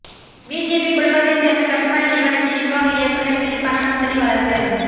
VGP குழுமத்தைச் சேர்ந்த கட்டுமான நிறுவனத்தின் நிர்வாக இயக்குனர் மீது பண மோசடி வழக்கு